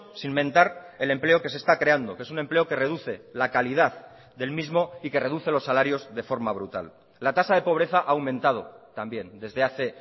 sin mentar el empleo que se está creando que es un empleo que reduce la calidad del mismo y que reduce los salarios de forma brutal la tasa de pobreza ha aumentado también desde hace